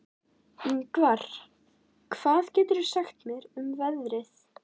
Yngvar, hvað geturðu sagt mér um veðrið?